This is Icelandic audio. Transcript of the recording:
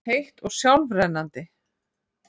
heitt og sjálfrennandi.